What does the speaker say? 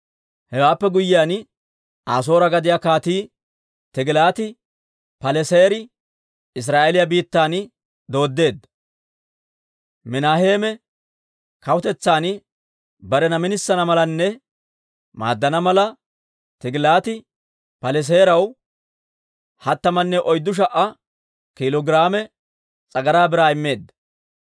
Hewaappe guyyiyaan, Asoore gadiyaa Kaatii Tigilaati-Paleseeri Israa'eeliyaa biittan dooddeedda. Minaheeme kawutetsan barena minisana malanne maaddana mala, Tigilaati-Paleseeraw hattamanne oyddu sha"a kiilo giraame s'agaraa biraa immeedda.